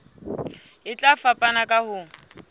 e tla fapana ka ho